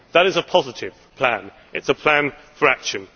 That is a positive plan it is a plan for action.